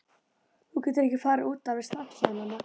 Þú getur ekki farið út alveg strax, sagði mamma.